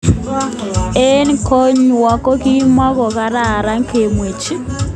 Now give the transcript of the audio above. Eng konywon kokimokokararan kemwechi.